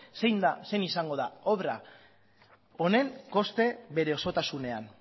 zein izango den obra honen koste bere osotasunean